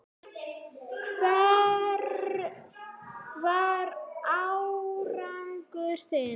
Hver var árangur þinn?